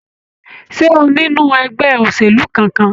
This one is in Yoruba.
Ṣé o nínú ẹgbẹ́ òṣèlú kánkán?